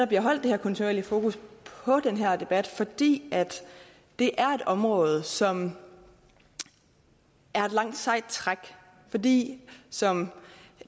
bliver holdt det her kontinuerlige fokus på den her debat fordi det er et område som er et langt sejt træk fordi som